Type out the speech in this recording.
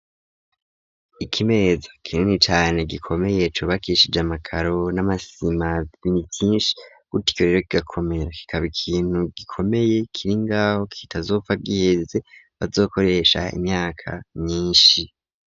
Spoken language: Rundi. Ikimeza kinini cane gikomeye cubakishije amakaro n'amasima bini vyinshi gutyo rero kigakomera kikaba ikintu gikomeye kiringaho kitazopfa giheze bazokoresha imyaka nyinshi.